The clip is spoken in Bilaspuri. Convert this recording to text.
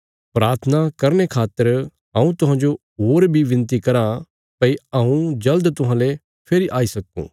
प्राथना करने खातर हऊँ तुहांजो होर बी विनती कराँ भई हऊँ जल़द तुहांले फेरी आई सक्कूँ